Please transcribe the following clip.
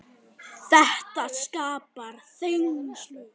Þetta skapar þenslu.